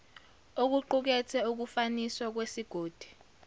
okuqukethe ukufaniswa kwesigodi